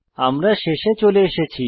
আমরা শেষে চলে এসেছি